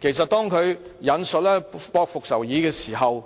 既然他引述《駁復仇議》，那麼